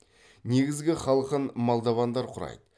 негізгі халқын молдовандар құрайды